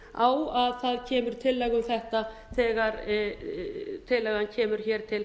á að það kemur tillaga um þetta þegar tillagan kemur hér til